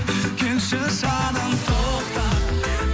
келші жаным тоқта